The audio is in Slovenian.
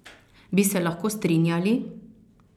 Bi se lahko strinjali?